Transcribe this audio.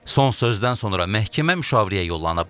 Son sözdən sonra məhkəmə müşavirəyə yollanıb.